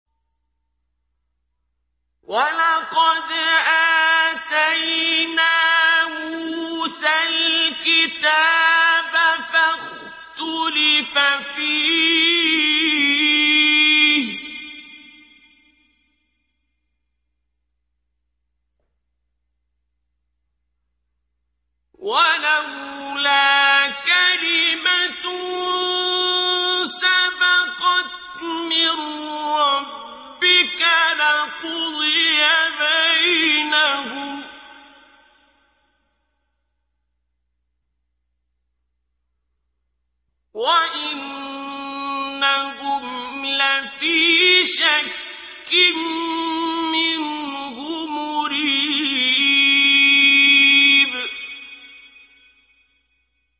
وَلَقَدْ آتَيْنَا مُوسَى الْكِتَابَ فَاخْتُلِفَ فِيهِ ۚ وَلَوْلَا كَلِمَةٌ سَبَقَتْ مِن رَّبِّكَ لَقُضِيَ بَيْنَهُمْ ۚ وَإِنَّهُمْ لَفِي شَكٍّ مِّنْهُ مُرِيبٍ